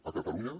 a catalunya